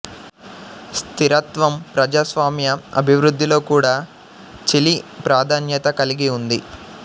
స్థిరత్వం ప్రజాస్వామ్య అభివృద్ధిలో కూడా చిలీ ప్రాధాన్యత కలిగి ఉంది